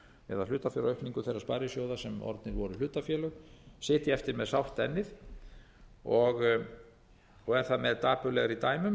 eða hlutabréfaaukningu þeirra sparisjóða sem orðnir voru hlutafélög sitja eftir með sárt ennið og er það með dapurlegri dæmum